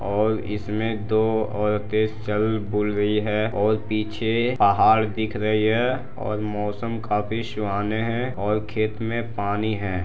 और इसमें दो औरते चल बुल रही है और पीछे पहाड़ दिख रही है और मौसम काफी सुहाने हैं और खेत में पानी है।